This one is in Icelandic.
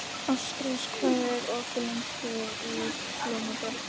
Ástrós, hvað er opið lengi í Blómabrekku?